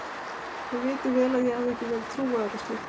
Þið vitið vel að ég hef ekki verið trúaður á slíkt.